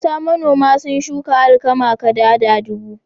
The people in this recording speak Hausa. Mata manoma sun shuka alkama kadada dubu.